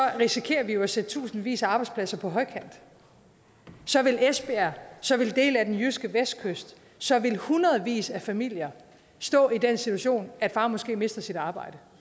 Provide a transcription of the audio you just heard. risikerer vi at sætte tusindvis af arbejdspladser på højkant så vil esbjerg så vil dele af den jyske vestkyst så vil hundredevis af familier stå i den situation at far måske mister sit arbejde